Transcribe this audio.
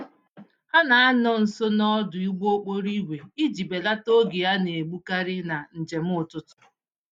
Ha na-anọ nso n'ọdụ ụgbọ-okporo-ígwè iji belata oge a naegbu karị na njem ụtụtụ